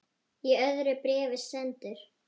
Í öðru bréfi sendur